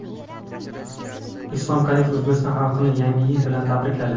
Islom Karimov O‘zbekiston xalqini Yangi yil bilan tabrikladi.